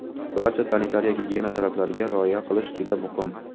barcha sanitariya-gigiyena talablariga rioya qilish juda muhim.